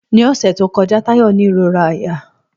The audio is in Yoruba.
Ní ọ̀sẹ̀ tí ó kọjá, Táyò ní ìróra àyà